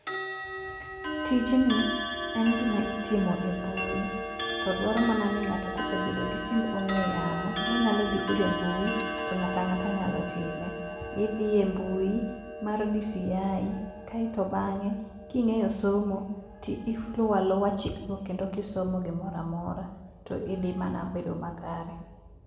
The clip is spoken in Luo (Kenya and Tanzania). Tijni en gima itimo e mbui. To dwaro mana ni ng'ato kosebedo gi simb ong'ue yamo monyalo dhi godo e mbui, to ng'ato ang'ata nyalo time. Idhi e mbui mar DCI, kae to bang'e king'eyo somo tiluwo aluwa chik go kendo kisomo gimoro amora, tidhi mana bedo makare.